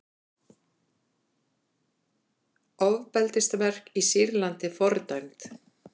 Ofbeldisverk í Sýrlandi fordæmd